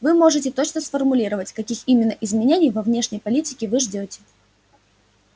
вы можете точно сформулировать каких именно изменений во внешней политике вы ждёте